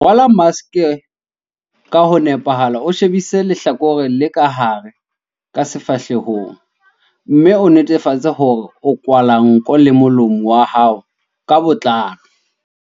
Rwala maske ka ho nepahala o shebise lehlakore le ka hare ka sefahlehong, mme o netefatse hore o kwahela nko le molomo wa hao ka botlalo.4.